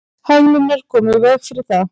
hömlurnar koma í veg fyrir það